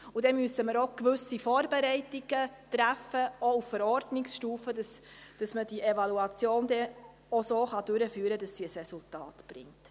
Dann müssen wir auch gewisse Vorbereitungen treffen, auch auf Verordnungsstufe, damit man die Evaluation dann auch so durchführen kann, dass sie ein Resultat erbringt.